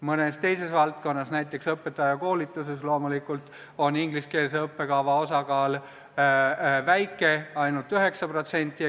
Mõnes teises valdkonnas, näiteks õpetajakoolituses, on ingliskeelse õppekava osakaal loomulikult väike, ainult 9%.